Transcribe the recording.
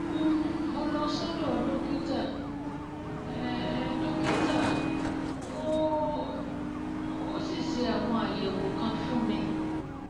um mo lọ sọ́dọ̀ dókítà um dókítà um ó um sì ṣe àwọn àyẹ̀wò kan fún mi